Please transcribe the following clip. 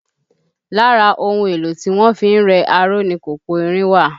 Lára ohun èlò tí wọ́n fi ń rẹ aró ni kòkò irin wà